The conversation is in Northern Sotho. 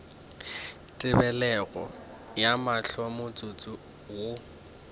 tebelego ya mahlo motsotso wo